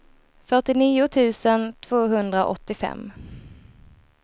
fyrtionio tusen tvåhundraåttiofem